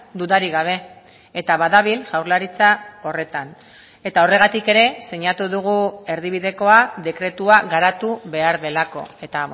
dudarik gabe eta badabil jaurlaritza horretan eta horregatik ere sinatu dugu erdibidekoa dekretua garatu behar delako eta